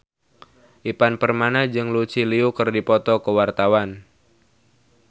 Ivan Permana jeung Lucy Liu keur dipoto ku wartawan